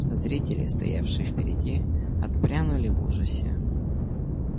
зрители стоявшие впереди отпрянули в ужасе